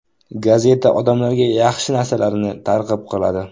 Gazeta odamlarga yaxshi narsalarni targ‘ib qiladi.